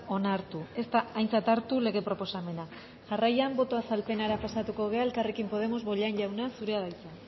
onartu ez da aintzat hartu lege proposamena jarraian boto azalpenera pasatuko gara elkarrekin podemos bollain jauna zurea da hitza